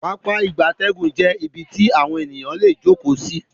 Pápá ìgbatẹ́gùn jé ibí tí eyan lẹ jókó sí